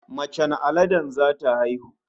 Macen aladen zata haihu